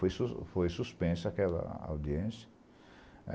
Foi sus foi suspensa aquela audiência.